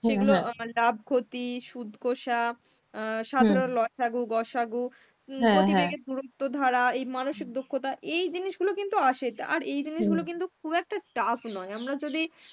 সেইগুলো আবার লাভ ক্ষতি, সুদ কষা, সাধারণ লসাগু, গসাগু, উম গতিবেগের দুরত্ব ধারা এই মানসিক দুক্ষতা এই জিনিসগুলো কিন্তু আসে আর এই জিনিসগুলো কিন্তু খুব একটা tough নয়. আমরা যদি